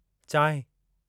चांहिं